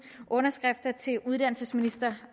underskrifter til uddannelsesministeren